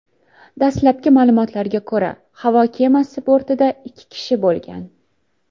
Dastlabki ma’lumotlarga ko‘ra, havo kemasi bortida ikki kishi bo‘lgan.